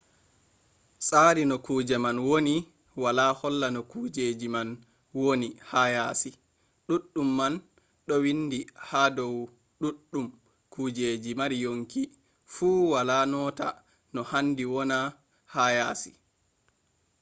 tsari no kuje man woni wala holla no kujeji man woni ha yasi ɗuɗɗum man ɗo windi ha dow ɗuɗɗum kujeji mari yonki fu wala nota no handi woni ha yasi